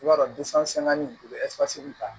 I b'a dɔn ta